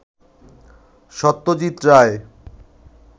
Satyajit Ray